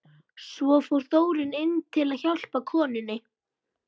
Svo fór Þórunn inn til að hjálpa konunni.